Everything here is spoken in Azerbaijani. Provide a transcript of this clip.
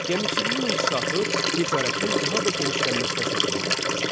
Gəmiçiliyin inkişafı ticarətin daha da genişlənməsinə səbəb olmuşdu.